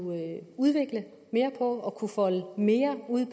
udvikle mere og folde mere ud